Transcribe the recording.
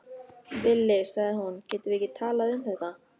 Villi, sagði hún, getum við ekki talað um þetta?